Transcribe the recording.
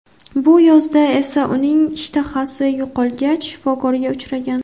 Bu yozda esa uning ishtahasi yo‘qolgach, shifokorga uchragan.